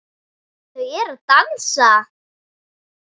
Þau eru að dansa